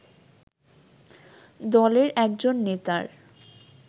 দলের একজন নেতার